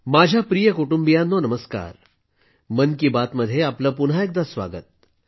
माझ्या प्रिय कुटुंबियांनो नमस्कार मन की बात मध्ये आपलं पुन्हा एकदा स्वागत आहे